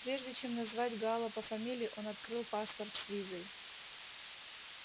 прежде чем назвать гаала по фамилии он открыл паспорт с визой